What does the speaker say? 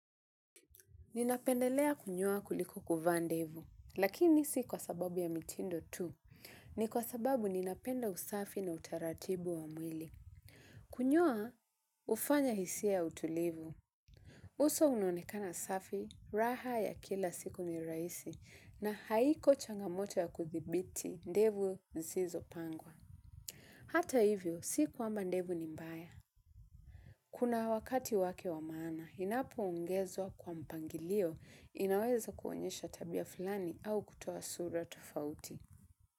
Ninapendelea kunyoa kuliko kuvaa ndevu lakini si kwa sababu ya mitindo tu ni kwa sababu ninapenda usafi na utaratibu wa mwili. Kunyoa hufanya hisia ya utulivu uso unaonekana safi, raha ya kila siku ni rahisi na haiko changamoto ya kuthibiti ndevu zisizopangwa. Hata hivyo, si kwamba ndevu ni mbaya. Kuna wakatiwake wa maana, inapoongezwa kwa mpangilio inaweza kuonyesha tabia fulani au kutoa sura tofauti.